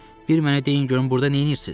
Bir mənə deyin görüm burda neyləyirsiz?